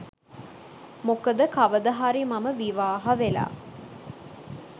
මොකද කවදහරි මම විවාහ වෙලා